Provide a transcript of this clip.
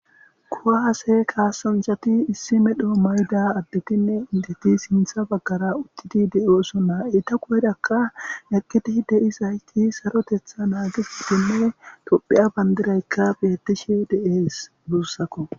kuwahase kaasanchati issimedhoo mayda addetinne indeti sintha baggara udtidi de7oosonnaa e ta kuerakka eqqidi de' isayti sarotetha naagisitinne tophiya bandiraykka betishe de7ees buussakko